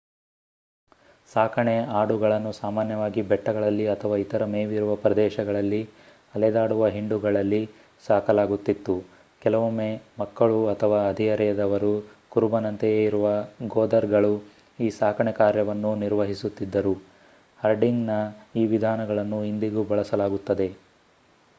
ಸಾಕಣೆ ಆಡುಗಳನ್ನು ಸಾಮಾನ್ಯವಾಗಿ ಬೆಟ್ಟಗಳಲ್ಲಿ ಅಥವಾ ಇತರ ಮೇವಿರುವ ಪ್ರದೇಶಗಳಲ್ಲಿ ಅಲೆದಾಡುವ ಹಿಂಡುಗಳಲ್ಲಿ ಸಾಕಲಾಗುತ್ತಿತ್ತು. ಕೆಲವೊಮ್ಮೆ ಮಕ್ಕಳು ಅಥವಾ ಹದಿಹರೆಯದವರು ಕುರುಬನಂತೆಯೇ ಇರುವ ಗೊದರ್‌ಗಳು ಈ ಸಾಕಣೆ ಕಾರ್ಯವನ್ನು ನಿರ್ವಹಿಸುತ್ತಿದ್ದರು. ಹರ್ಡಿಂಗ್‌ನ ಈ ವಿಧಾನಗಳನ್ನು ಇಂದಿಗೂ ಬಳಸಲಾಗುತ್ತದೆ